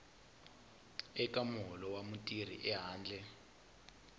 eka muholo wa mutirhi ehandle